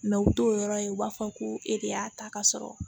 u t'o yɔrɔ ye u b'a fɔ ko e de y'a ta ka sɔrɔ